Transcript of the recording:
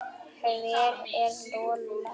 Hver er Lola?